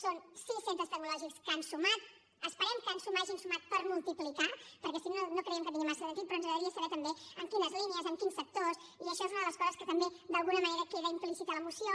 són sis centres tecnològics que han sumat esperem que en sumar hagin sumat per multiplicar perquè si no no creiem que tingui massa sentit però ens agradaria saber també en quines línies en quins sectors i això és una de les coses que també d’alguna manera queda implícita a la moció